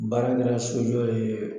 Baara kɛra sojɔ ye